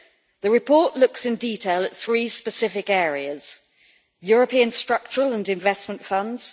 The report looks in detail at three specific areas European structural and investment funds